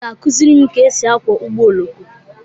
Obi ga-akụziri m ka e si akwọ ụgbọ oloko.